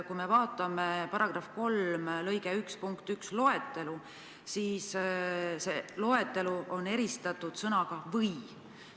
Kui me vaatame § 3 lõike 1 punkti 1 loetelu, siis näeme, et selles loetelus on kasutatud sõna "või".